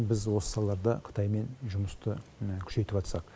біз осы салаларда қытаймен жұмысты міні күшейтіватсақ